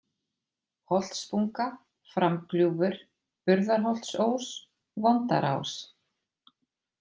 Holtsbunga, Framgljúfur, Burðarholtsós, Vondarás